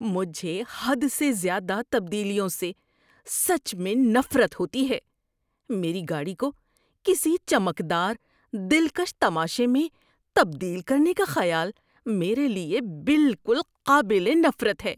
مجھے حد سے زیادہ تبدیلیوں سے سچ میں نفرت ہوتی ہے۔ میری گاڑی کو کسی چمکدار، دلکش تماشے میں تبدیل کرنے کا خیال میرے لیے بالکل قابل نفرت ہے۔